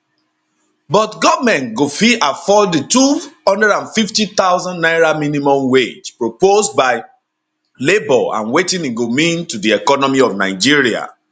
but goment go fit afford di 250000 naira minimum wage proposed by labour and wetin e go mean to di economy of nigeria